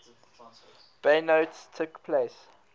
bayonets took place